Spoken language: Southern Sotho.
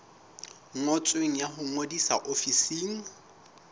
ngotsweng ya ho ngodisa ofising